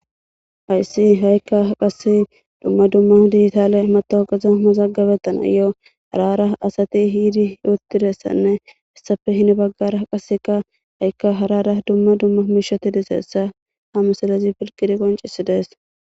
Hayssi ha'ikka qasse dumma dumma diitaale matowogaza masaggabettana yo harara asati hiidi yuottidessanne issafe hini baggara qaseka ha'ikka harara dumma dumma miishoti diseessa ha musalezi filqiri qoncisi dees.